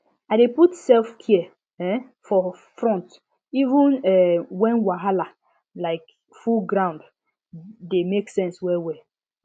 i dey put selfcare um for front even um when wahala um full grounde dey make sense well well